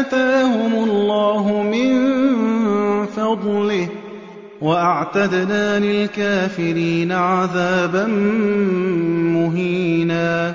آتَاهُمُ اللَّهُ مِن فَضْلِهِ ۗ وَأَعْتَدْنَا لِلْكَافِرِينَ عَذَابًا مُّهِينًا